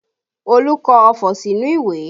Olu kọ ọfọ̀ sínú ìwé